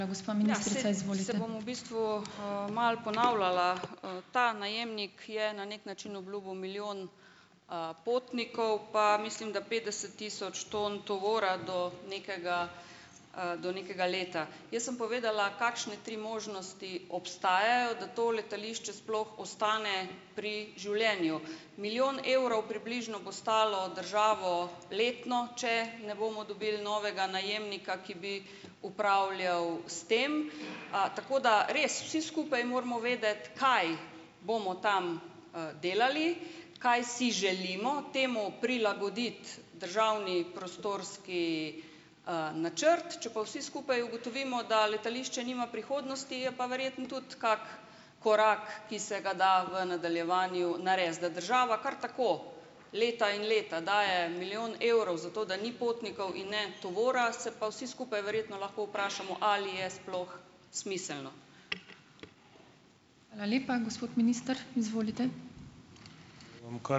Bom v bistvu, malo ponavljala. Ta najemnik je na neki način obljubil milijon, potnikov, pa mislim, da petdeset tisoč ton tovora do nekega, do nekega leta. Jaz sem povedala, kakšne tri možnosti obstajajo, da to letališče sploh ostane pri življenju. Milijon evrov približno bo stalo državo letno, če ne bomo dobili novega najemnika, ki bi upravljal s tem. Tako da res vsi skupaj moramo vedeti, kaj bomo tam, delali, kaj si želimo, temu prilagoditi državni prostorski, načrt. Če pa vsi skupaj ugotovimo, da letališče nima prihodnosti, je pa verjetno tudi kak korak, ki se ga da v nadaljevanju narediti. Da država kar tako leta in leta daje milijon evrov zato, da ni potnikov in ne tovora, se pa vsi skupaj verjetno lahko vprašamo, ali je sploh smiselno.